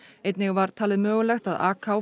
einnig var talið mögulegt að